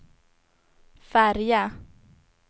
färja